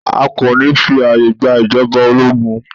A kò ní fí ààyè gba ìjọba ológun.